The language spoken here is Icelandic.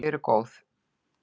Þau eru góð.